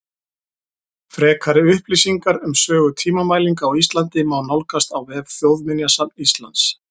Frekari upplýsingar um sögu tímamælinga á Íslandi má nálgast á vef Þjóðminjasafns Íslands.